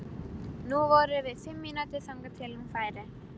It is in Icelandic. Nú voru bara fimm mínútur þangað til hún færi.